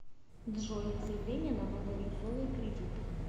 джой заявление на новые условия кредита